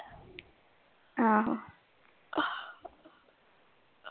ਆਹੋ।